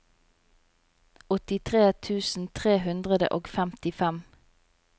åttitre tusen tre hundre og femtifem